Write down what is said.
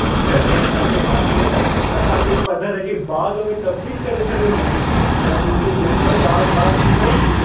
जॾहिं असां जे मालीअ असां जे पधर खे बाग़ में तबदील करे छॾियो, त मुंहिंजी दिल बि बाग़-बाग़ थी वेई।